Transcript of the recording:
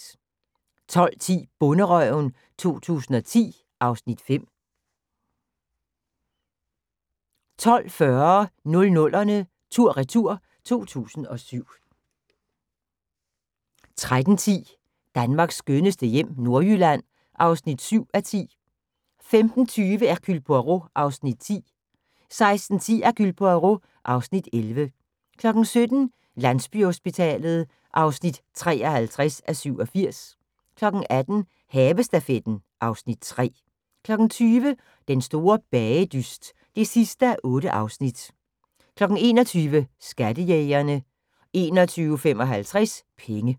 12:10: Bonderøven 2010 (Afs. 5) 12:40: 00'erne tur/retur: 2007 13:10: Danmarks skønneste hjem - Nordjylland (7:10) 15:20: Hercule Poirot (Afs. 10) 16:10: Hercule Poirot (Afs. 11) 17:00: Landsbyhospitalet (53:87) 18:00: Havestafetten (Afs. 3) 20:00: Den store bagedyst (8:8) 21:00: Skattejægerne 21:55: Penge